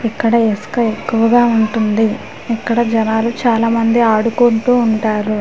ఇక్కడ ఇసుక ఎక్కువగా ఉంటుంది ఇక్కడ జనాలు చాలా మంది ఆడుకుంటూ ఉంటారు .]